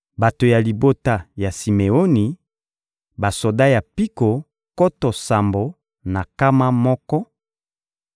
bato ya libota ya Simeoni: basoda ya mpiko nkoto sambo na nkama moko;